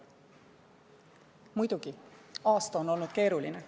Muidugi, aasta on olnud keeruline.